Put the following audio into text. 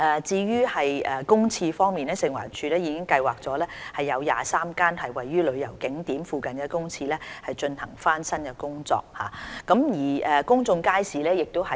至於公廁方面，食環署已計劃為23間位於旅遊景點附近公廁進行翻新工程。